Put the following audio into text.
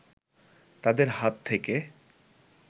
তাদের হাত থেকে